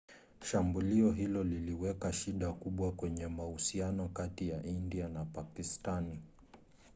shambulio hilo liliweka shida kubwa kwenye mahusiano kati ya india na pakistani